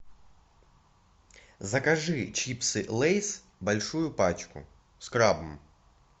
закажи чипсы лейс большую пачку с крабом